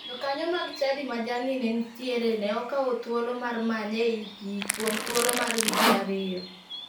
Jokanyo mag chadi ma jalni ne nitiere ne okawo thuolo mar manye ei pii kuom thuolo mar wige a riyo.